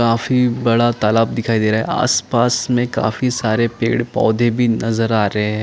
काफी बड़ा तालाब दिखाई दे रहा है आस पास में काफी सारे पेड़ पौधे भी नजर आ रहे हैं।